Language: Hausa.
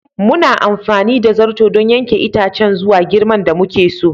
Muna amfani da zarto don yanke itacen zuwa girman da muka so.